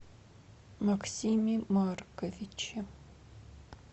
максиме марковиче